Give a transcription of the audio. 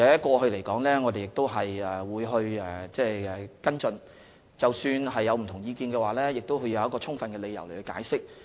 過去我們亦曾跟進有關個案，即使有不同意見，也會提出充分理由加以解釋。